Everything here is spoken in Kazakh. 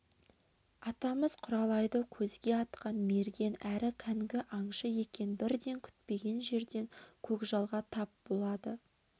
атамыз құралайды көзге атқан мерген әрі кәнгі аңшы екен бірде күтпеген жерден көкжалға тап болады